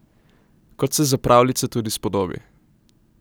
Kot se za pravljice tudi spodobi.